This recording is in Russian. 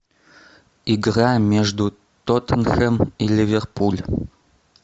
игра между тоттенхэм и ливерпуль